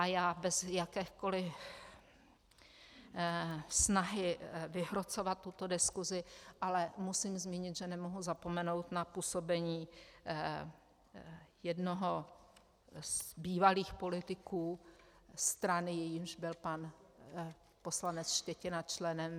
A já bez jakékoliv snahy vyhrocovat tuto diskusi ale musím zmínit, že nemohu zapomenout na působení jednoho z bývalých politiků strany, jejímž byl pan poslanec Štětina členem -